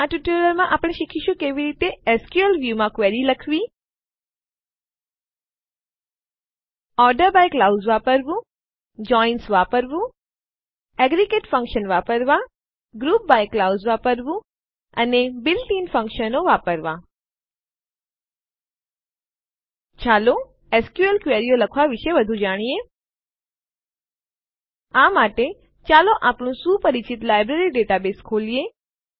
આ ટ્યુટોરીયલમાં આપણે શીખીશું કે કેવી રીતે એસક્યુએલ વ્યૂ માં ક્વેરીઓ લખવી ઓર્ડર બાય ક્લાઉઝ વાક્યાંશ વાપરવું જોઇન્સ વાપરવું એગ્રેગેટ ફંક્શન્સ એકંદર વિધેયો વાપરવાં ગ્રુપ બાય ક્લાઉઝ વાક્યાંશ વાપરવું અને બીલ્ટ ઇન ફંક્શનો આંતરિક બંધારણીય વિધેયો વાપરવાં ચાલો એસક્યુએલ ક્વેરીઓ લખવા વિશે વધુ જાણીએ આ માટે ચાલો આપણું સુપરિચિત લાઈબ્રેરી ડેટાબેઝ ખોલીએ